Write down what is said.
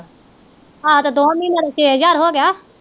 ਆਹੋ ਤੇ ਦੋਵਾਂ ਮਹੀਨਿਆਂ ਦਾ ਛੇ ਹਜ਼ਾਰ ਹੋਗਿਆ।